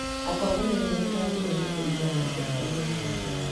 Atongoria rĩu matirathurwo kũringana na mbeca iria maraheana.